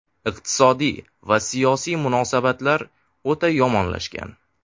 Iqtisodiy va siyosiy munosabatlar o‘ta yomonlashgan.